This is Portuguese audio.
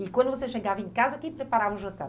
E quando você chegava em casa, quem preparava o jantar?